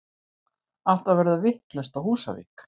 Allt að verða vitlaust á Húsavík!!!!!